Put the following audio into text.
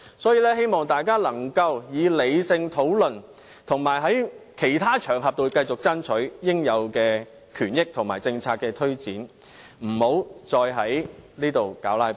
所以，我希望大家可以理性討論，以及在其他場合中，繼續爭取應有權益和政策推展，不要再在此"拉布"。